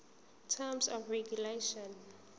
terms of regulation